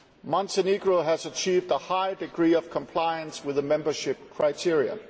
Montenegro has achieved a high degree of compliance with the membership criteria.